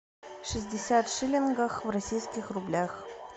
шестьдесят шиллингов в российских рублях